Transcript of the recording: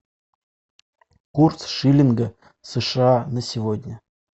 курс шиллинга сша на сегодня